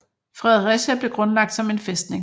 Fredericia blev grundlagt som en fæstning